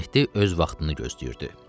Mehdi öz vaxtını gözləyirdi.